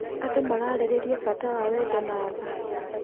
Andũ mararĩrĩria bata wa wendo na tha.